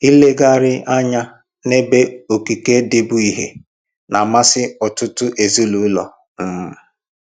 Ilegharị anya n'ebe okike dị bụ ihe na-amasị ọtụtụ ezinụlọ um